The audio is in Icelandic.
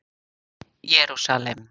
Jerúsalem